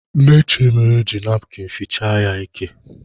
Nne Chiemelie ji napkịn fichaa ya ike.